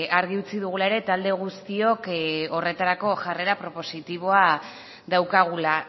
argi utzi dugula ere talde guztiok horretarako jarrera propositiboa daukagula